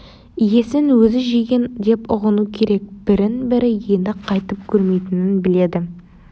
иесін өзі жеген деп ұғыну керек бірін бірі енді қайтып көрмейтінін біледі